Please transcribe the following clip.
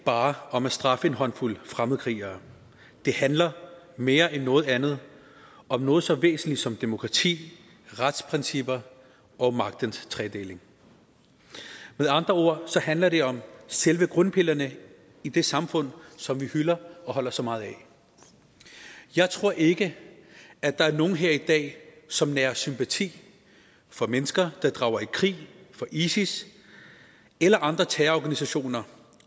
bare om at straffe en håndfuld fremmedkrigere det handler mere end noget andet om noget så væsentligt som demokrati retsprincipper og magtens tredeling med andre ord handler det om selve grundpillerne i det samfund som vi hylder og holder så meget af jeg tror ikke at der er nogen her i dag som nærer sympati for mennesker der drager i krig for isis eller andre terrororganisationer